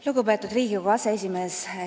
Lugupeetud Riigikogu aseesimees!